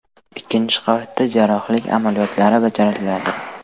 Ikkinchi qavatda jarrohlik amaliyotlari bajariladi.